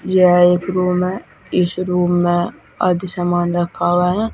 यह एक रूम है इस रूम में आधी सामान रखा हुआ है।